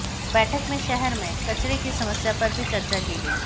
बैठख में शहर में कचरे की समस्या पर भी चर्चा की गई